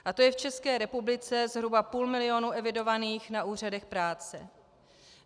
A to je v České republice zhruba půl milionů evidovaných na úřadech práce.